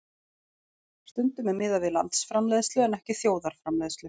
Stundum er miðað við landsframleiðslu en ekki þjóðarframleiðslu.